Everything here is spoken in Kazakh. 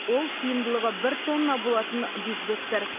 ол сыйымдылығы бір тонна болатын бигбегтер